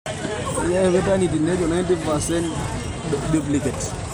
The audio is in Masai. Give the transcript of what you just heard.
Enkitengenare olairemok kepona engeno eishoi endaa olchamba.